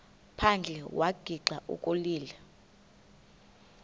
phandle wagixa ukulila